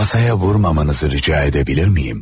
Masaya vurmamanızı rica edebilir miyim?